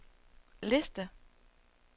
liste